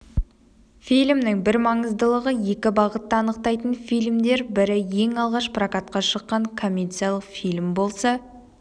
фильмнің бір маңыздылығы екі бағытты анықтайтын фильмдер бірі ең алғаш прокатқа шыққан коммерциялық фильм болса